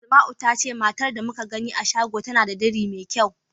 Asma'u ta ce matar da muka gani a shago tana da diri mai kyau.